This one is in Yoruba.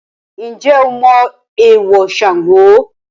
Ǹjẹ́ o mọ èèwọ̀ Sango?